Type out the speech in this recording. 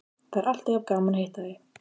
Það er alltaf jafn gaman að hitta þig.